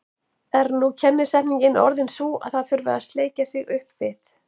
Er nú kennisetningin orðin sú að það þurfi að sleikja sig upp við